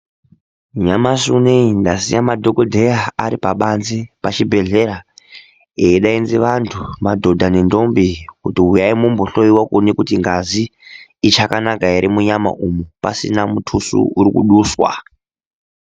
Nyamashi unouyu ndasiya madhogodheya aripabanzi pachibhedhleya. Eidaidze antu madhodha nendombi kuti huyai mumbohloiwa kuone kuti ngazi ichakanaka ere, munyama umu pasina mutuso uri kuduswa.